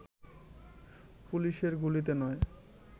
পুলিশের গুলিতে নয়